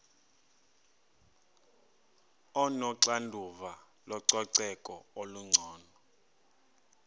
onoxanduva lococeko olungcono